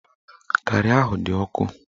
Garị ahụ dị ọkụ